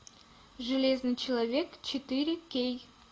железный человек четыре кей